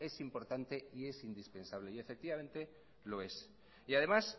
es importante y es indispensable y efectivamente lo es y además